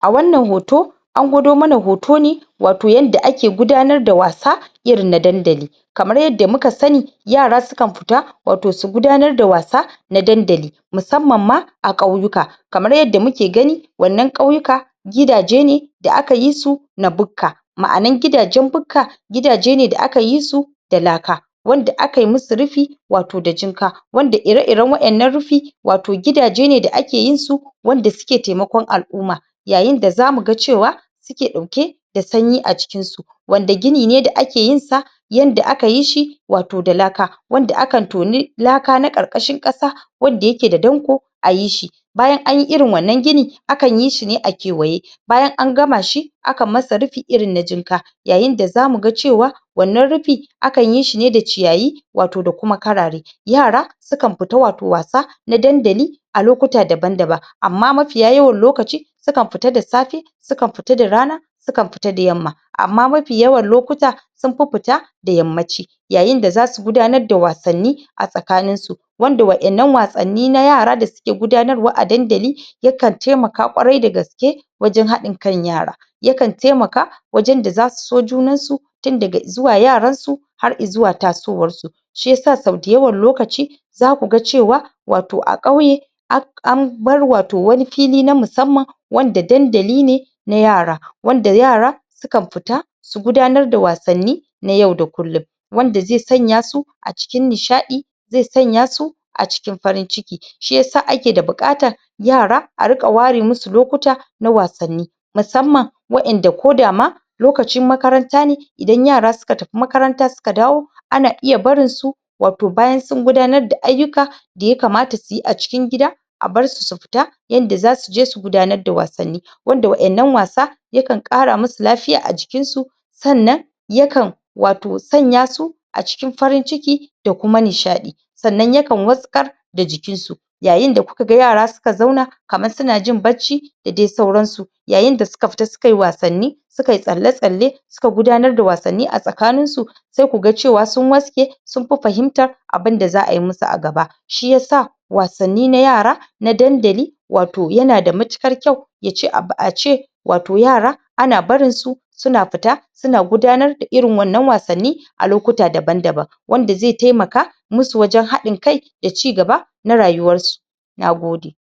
a wannan hoto an gwado mana hoto ne wato yanda ake gudanar da wasa irin na dandali kamar yadda muka sani yara sukan fita wato su gudanar da wasa na dandali musamman ma a ƙauyuka kamar yadda muke gani wannan ƙauyuka gidaje ne da aka yi su na bukka ma'anar gidajen bukka gidaje ne da aka yi su da laka wanda aka yi musu rufi wato da jinka wanda ire-iren waƴannan rufi wato gidaje ne da ake yin su wanda suke taimakon al'umma yayin da za mu ga cewa suke ɗauke da sanyi a cikinsu wanda gini ne da ake yin sa yanda aka yi shi wato da laka wanda akan toni laka na ƙarƙashin ƙasa wadda yake da danƙo a yi shi bayan an yi irin wannan gini akan yi shi ne a kewaye bayan an gama shi akan masa rufi irin na jinka yayin da za mu ga cewa wannan rufi akan yi shi ne da ciyayi wato da kuma karare yara sukan fita wato wasa na dandali a lokuta daban-daban amma mafiya yawan lokaci sukan fita da safe sukan fita da rana sukan fita da yamma amma mafi yawan lokuta sun fi fita da yammanci yayin da za su gudanar da wasanni a tsakaninsu wanda waƴannan wasanni nayara da su ke gudanarwa a dandali ya kan taimaka ƙwarai da gaske wajen haɗinkan yara ya kan taimaka wajen da za su so junansu tun daga izuwa yaransu har izuwa tasowarsu shi yasa sau dayawan lokaci za ku ga cewa wato a ƙauye ak... an bar wato wani fili na musamman wanda dandali ne na yara wanda yara sukan fita su gudanar da wasanni na yau da kullum wanda zai sanya su a cikin nishaɗi zai sanya su a cikin farin-ciki shi yasa ake da buƙatar yara a riƙa ware musu lokuta na wasanni waƴanda ko da ma lokacin makaranta ne idan yara suka tafi makaranta suka dawo ana iya barin su wato bayan sun gudanar da ayyuka da ya kamata su yi a cikin gida a bar su su fita yanda za su je su gudanar da wasanni wanda waƴannan wasa ya kan ƙara musu lafiya a jikinsu sannan ya kan wato sanya su a cikin farin-ciki da kuma nishaɗi sannan ya kan wasƙar da jikinsu yayin da ku ga yara suka zauna kamar suna jin barci da dai sauransu yayin da suka fita suka yi wasanni su ka yi tsalla-tsalle su ka gudanar da wasanni a tsakaninsu sai ku ga cewa sun wattsaƙe sun fi fahimta abin da za a yi musu a gaba shi yasa wasanni na yara na dandali wato yana da matuƙar kyau ya ce abu ace wato yara ana barin su suna fita suna gudanar da irin wannan wasanni a lokuta daban-daban wanda zai taimaka musu wajen haɗin-kai da cigaba na rayuwarsu na gode